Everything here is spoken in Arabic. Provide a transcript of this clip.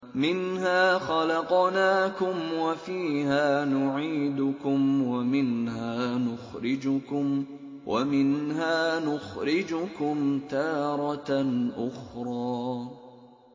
۞ مِنْهَا خَلَقْنَاكُمْ وَفِيهَا نُعِيدُكُمْ وَمِنْهَا نُخْرِجُكُمْ تَارَةً أُخْرَىٰ